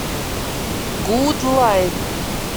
гудлайн